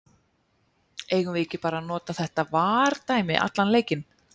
Eigum við ekki bara að nota þetta VAR dæmi allan leikinn?